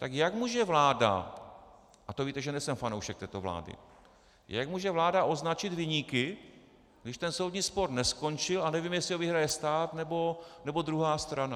Tak jak může vláda, a to víte, že nejsem fanoušek této vlády, jak může vláda označit viníky, když ten soudní spor neskončil a nevím, jestli ho vyhraje stát, nebo druhá strana?